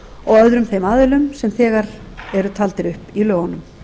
og öðrum þeim aðilum sem þegar eru taldir upp í lögunum